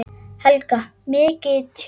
Helga: Mikið tjón?